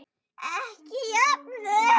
Ekki jöfnuð.